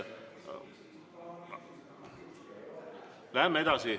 Läheme edasi.